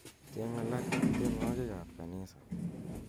cheng' alak en tienwogik ab kanisa